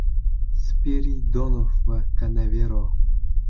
Spiridonov va Kanavero.